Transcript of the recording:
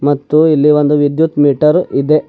ಮತ್ತು ಇಲ್ಲಿ ಒಂದು ವಿದ್ಯುತ್ ಮೀಟರ್ ಇದೆ.